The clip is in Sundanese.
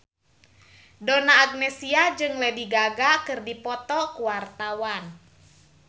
Donna Agnesia jeung Lady Gaga keur dipoto ku wartawan